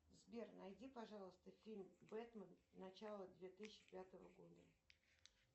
сбер найди пожалуйста фильм бэтмен начало две тысячи пятого года